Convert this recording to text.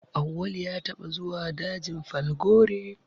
Auwalu ya taɓa zuwa dajin Falgore